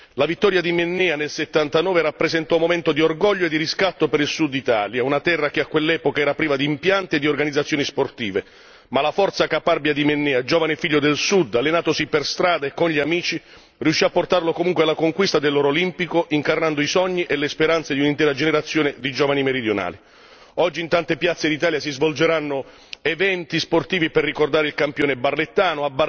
La vittoria di Mennea nel 1979 rappresentò un momento di orgoglio e di riscatto per il Suditalia, una terra che a quell'epoca era priva di impianti e di organizzazioni sportive, ma la forza caparbia di Mennea, giovane figlio del Sud, allenatosi per strada e con gli amici, riuscì a portarlo comunque alla conquista dell'oro olimpico incarnando i sogni e le speranze di un'intera generazione di giovani meridionali. Oggi in tante piazze d'Italia si svolgeranno eventi sportivi per ricordare il campione barlettano.